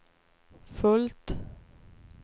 fullt